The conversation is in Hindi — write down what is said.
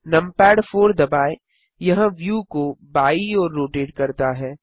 नमपैड 4 दबाएँ यह व्यू को बायीं ओर रोटेट करता है